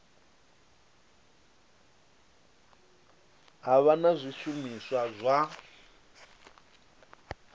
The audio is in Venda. ha vha na zwishumiswa zwa